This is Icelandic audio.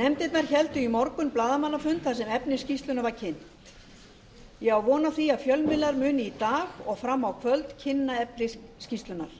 nefndirnar héldu í morgun blaðamannafund þar sem efni skýrslunnar var kynnt ég á von á því að fjölmiðlar munu í dag og fram á kvöld kynna efni skýrslunnar